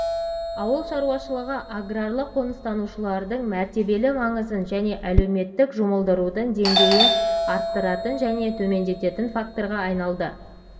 ауыл шаруашылығы аграрлық қоныстанушылардың мәртебелі маңызын және әлеуметтік жұмылдырудың деңгейін арттыратын немесе төмендететін факторға айналды